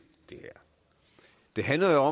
det handler